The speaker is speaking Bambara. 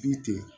Du tɛ yen